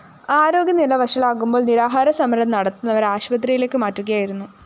ആരോഗ്യനില വഷളാകുമ്പോള്‍ നിരാഹാരസമരം നടത്തുന്നവരെ ആശുപത്രിയിലേക്ക് മാറ്റുകയായിരുന്നു